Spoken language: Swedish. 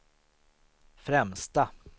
främsta